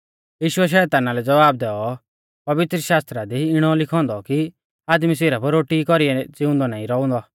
यीशुऐ शैताना लै ज़वाब दैऔ पवित्रशास्त्रा दी इणौ लिखौ औन्दौ कि आदमी सिरफ रोटी ई कौरीऐ ज़िउंदौ नाईं रौउंदौ